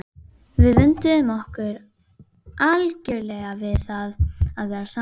Við vönduðum okkur algjörlega við það að vera saman.